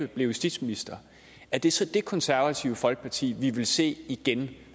blev justitsminister er det så det det konservative folkeparti vi vil se igen